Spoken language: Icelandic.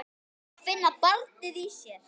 Að finna barnið í sér.